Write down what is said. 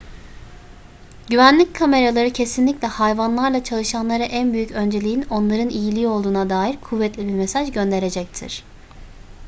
güvenlik kameraları kesinlikle hayvanlarla çalışanlara en büyük önceliğin onların iyiliği olduğuna dair kuvvetli bir mesaj gönderecektir